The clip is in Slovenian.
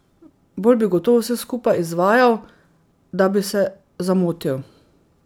Bolj bi gotovo vse skupaj izvajal, da bi se zamotil.